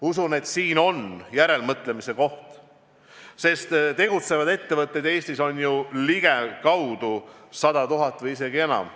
Usun, et siin on järelemõtlemise koht, sest tegutsevaid ettevõtteid Eestis on ju ligikaudu 100 000 või isegi enam.